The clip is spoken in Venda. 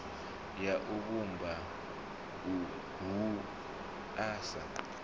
ya u vhumba wua sa